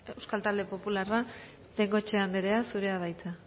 euskal talde popularra bengoechea andrea zurea da hitza